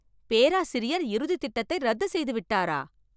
பேராசிரியர் இறுதி திட்டத்தை ரத்துச் செய்துவிட்டாரா?!